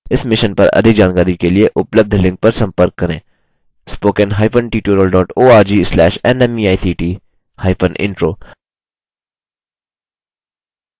इस mission पर अधिक जानकारी के लिए उपलब्ध लिंक पर संपर्क करेंspoken hyphen tutorial dot org slash nmeict hyphen intro